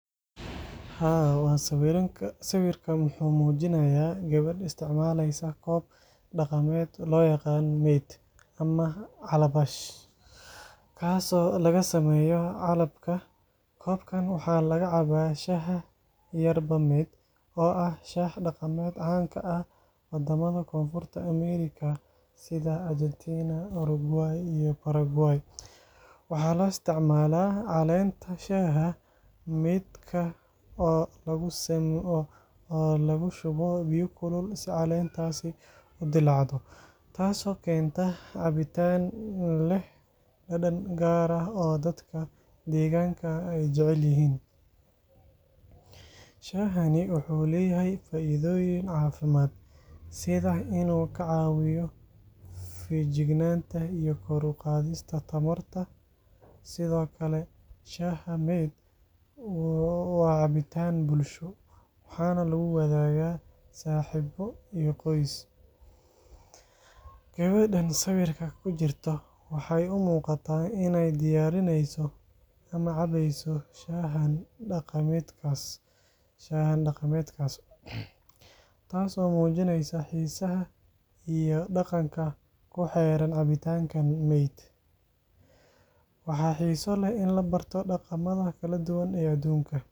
Haa, sawirkan wuxuu muujinayaa gabadh isticmaalaysa koob dhaqameed loo yaqaan mate ama calabash kaas oo laga sameeyo calabka. Koobkan waxaa laga caba shaaha Yerba Mate, oo ah shaah dhaqameed caan ka ah wadamada Koonfurta Ameerika sida Argentina, Uruguay, iyo Paraguay. Waxaa loo isticmaalaa caleenta shaaha mate-ka oo lagu shubo biyo kulul si caleentaasi u dillaacdo, taas oo keenta cabitaan leh dhadhan gaar ah oo dadka deegaanka ay jecel yihiin. Shaahani wuxuu leeyahay faa’iidooyin caafimaad, sida inuu ka caawiyo feejignaanta iyo kor u qaadista tamarta. Sidoo kale, shaaha Mate waa cabitaan bulsho, waxaana lagu wadaagaa saaxiibo iyo qoys. Gabadhan sawirka ku jirta waxay u muuqataa inay diyaarineyso ama cabayso shaahan dhaqameedkaas, taas oo muujineysa xiisaha iyo dhaqanka ku xeeran cabitaanka Mate. Waxaa xiiso leh in la barto dhaqamada kala duwan ee adduunka.